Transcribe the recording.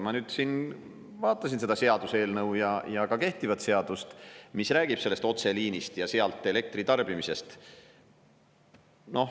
Ma nüüd vaatasin seda seaduseelnõu ja ka kehtivat seadust, mis räägib sellest otseliinist ja sealt elektri tarbimisest.